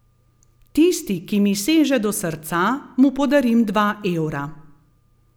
Tisti, ki mi seže do srca, mu podarim dva evra.